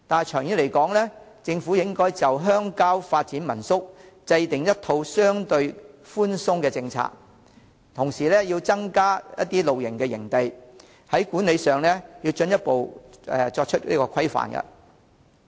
長遠而言，政府應就鄉郊發展民宿制訂一套相對寬鬆的政策，同時增加露營營地，管理上要進一步規範。